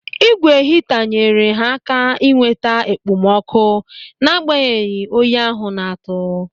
Ị́gwè hita nyere ha aka ịnweta okpomọkụ n'agbanyeghị oyi ahụ na-atụ.